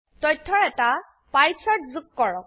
তথ্যৰ এটা pie chart যোগ কৰক